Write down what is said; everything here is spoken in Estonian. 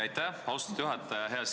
Aitäh, austatud juhataja!